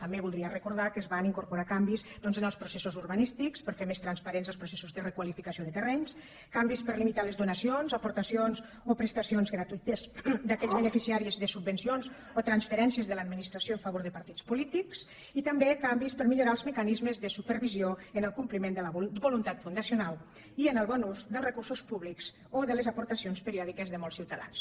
també voldria recordar que es van incorporar canvis doncs en els processos urbanístics per fer més transparents els processos de requalificació de terrenys canvis per a limitar les donacions aportacions o prestacions gratuïtes d’aquells beneficiaris de subvencions o transferències de l’administració a favor de partits polítics i també canvis per a millorar els mecanismes de supervisió en el compliment de la voluntat fundacional i en el bon ús dels recursos públics o de les aportacions periòdiques de molts ciutadans